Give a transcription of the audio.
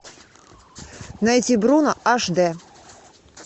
найти бруно аш д